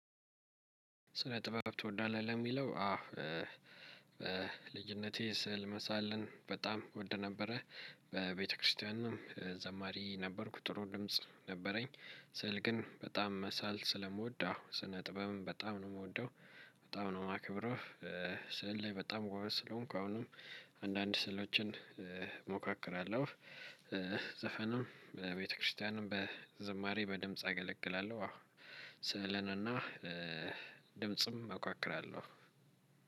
ስለ ጥበብ ትወዳለህ ለሚለው አዎ። ልጅነቴ ስዕል መሳለን በጣም እወድ ነበረ። በቤተክርስቲያንም ዘማሪ ነበርኩ ጥሩ ድምጽ ነበረኝ። ስዕል ግን በጣም መሳል ስለምወድ አው ስነጥበብን በጣም ነው የምወደው። በጣም ነው የማክብረው። ስዕል ላይ በጣም ጎበዝ ስለሆንኩ አሁንም አንዳንድ ስዕሎችን እሞካክራለሁ። ዘፈንም በቤተክርስቲያንም በዝማሬ በድምጽ አገለግላለሁ። አዎ ስዕልን እና ድምጽም እሞክራለሁ።